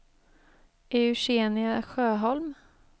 Eugenia Sjöholm